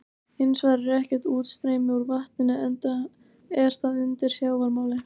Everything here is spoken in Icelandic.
Hins vegar er ekkert útstreymi úr vatninu enda er það undir sjávarmáli.